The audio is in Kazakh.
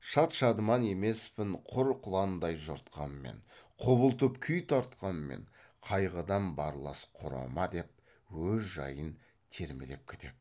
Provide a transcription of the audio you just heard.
шад шадыман емеспін құр құландай жортқанмен құбылтып күй тартқанмен қайғыдан барлас құрыма деп өз жайын термелеп кетеді